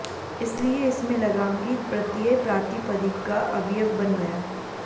इसलिए इसमें लगा ङि प्रत्यय प्रातिपदिक का अवयव बन गया